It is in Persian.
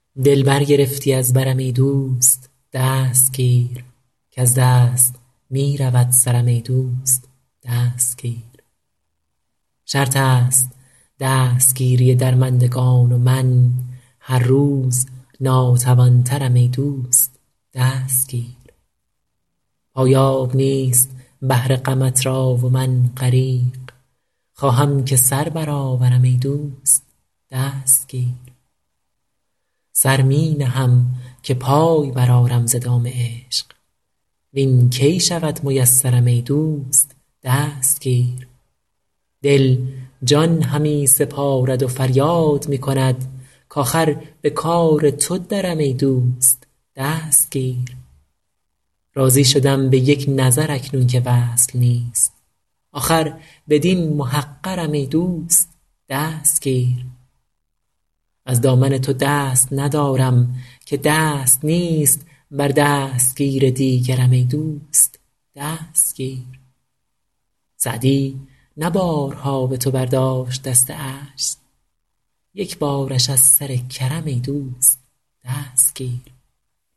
دل برگرفتی از برم ای دوست دست گیر کز دست می رود سرم ای دوست دست گیر شرط است دستگیری درمندگان و من هر روز ناتوان ترم ای دوست دست گیر پایاب نیست بحر غمت را و من غریق خواهم که سر برآورم ای دوست دست گیر سر می نهم که پای برآرم ز دام عشق وین کی شود میسرم ای دوست دست گیر دل جان همی سپارد و فریاد می کند کآخر به کار تو درم ای دوست دست گیر راضی شدم به یک نظر اکنون که وصل نیست آخر بدین محقرم ای دوست دست گیر از دامن تو دست ندارم که دست نیست بر دستگیر دیگرم ای دوست دست گیر سعدی نه بارها به تو برداشت دست عجز یک بارش از سر کرم ای دوست دست گیر